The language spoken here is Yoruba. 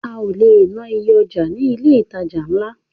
A ò le ná iye ọjà ní ilé ìtajà ńlá.